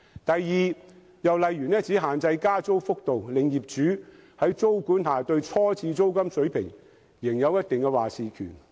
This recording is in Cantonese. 第二，政策只限制加租幅度，令業主在租管下對初次租金水平仍有一定話事權。